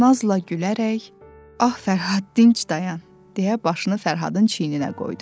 Nazla gülərək, ah Fərhad dinclə dayan, deyə başını Fərhadın çiyninə qoydu.